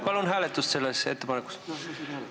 Palun hääletust selle ettepaneku puhul!